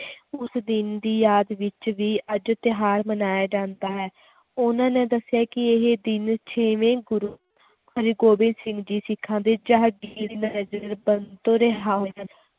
ਉਸ ਦਿਨ ਦੀ ਯਾਦ ਵਿੱਚ ਵੀ ਅੱਜ ਤਿਉਹਾਰ ਮਨਾਇਆ ਜਾਂਦਾ ਹੈ ਉਹਨਾਂ ਨੇ ਦੱਸਿਆ ਕਿ ਇਹ ਦਿਨ ਛੇਵੇਂ ਗੁਰੂ ਹਰਿਗੋਬਿੰਦ ਸਿੰਘ ਜੀ ਸਿੱਖਾਂ ਦੇ ਤੋਂ ਰਿਹਾਅ ਹੋਏ ਸਨ